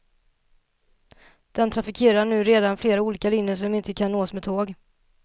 Den trafikerar redan nu flera olika linjer som inte nås med tåg.